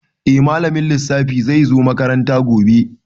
Eh malamin lissafi zai zo makaranta gobe.